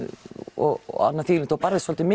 og þú barðist svolítið